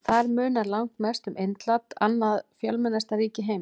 Þar munar langmest um Indland, annað fjölmennasta ríki heims.